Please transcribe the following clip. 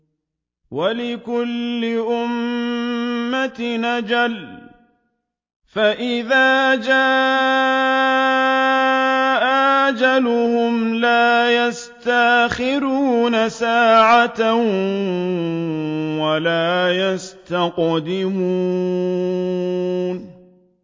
وَلِكُلِّ أُمَّةٍ أَجَلٌ ۖ فَإِذَا جَاءَ أَجَلُهُمْ لَا يَسْتَأْخِرُونَ سَاعَةً ۖ وَلَا يَسْتَقْدِمُونَ